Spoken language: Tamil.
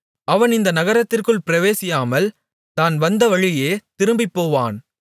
அவன் இந்த நகரத்திற்குள் பிரவேசியாமல் தான் வந்தவழியே திரும்பிப்போவான்